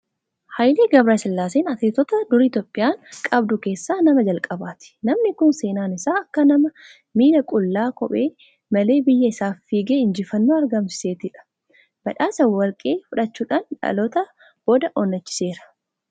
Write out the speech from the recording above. Haayilee Gabiresillaaseen Atileetota durii Itoophiyaan qabdu keessaa nama jalqabaati. Namni kun seenaan isaa akka nama miilla qullaa, kophee malee biyya isaaf fiigee injifannoo argamsiisettidha. Badhaasa Warqii fudhachuudhaan dhalootaa boodaa onnachiiseera.